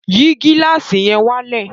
Yìí gílàsì yẹn wálẹ̀!